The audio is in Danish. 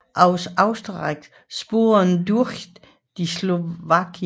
Auf österreichischen Spuren durch die Slowakei